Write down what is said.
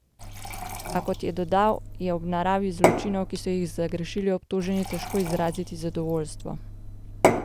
A, kot je dodal, je ob naravi zločinov, ki so jih zagrešili obtoženi, težko izraziti zadovoljstvo.